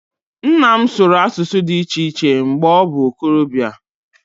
Nna m sụrụ asụsụ dị iche iche mgbe ọ bụ okorobịa